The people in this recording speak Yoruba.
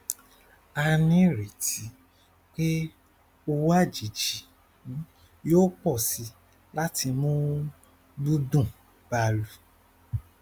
a ní ìrètí pé owó àjèjì yóò pọ síi láti mú gbùngbùn báa lọ